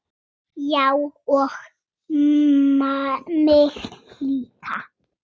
Já og mig líka.